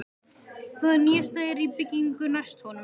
Það nýjasta er í byggingu næst honum.